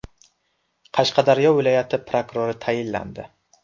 Qashqadaryo viloyati prokurori tayinlandi.